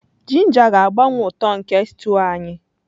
Ginger ga-agbanwe uto nke stew anyị.